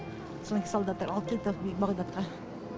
содан кейін солдаттар алып келді бағдатқа